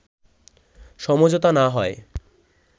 সমঝোতা না হয়